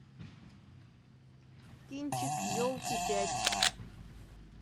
кинчик елки пять